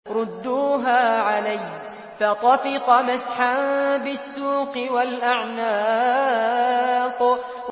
رُدُّوهَا عَلَيَّ ۖ فَطَفِقَ مَسْحًا بِالسُّوقِ وَالْأَعْنَاقِ